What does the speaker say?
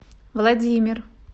владимир